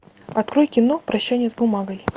открой кино прощание с бумагой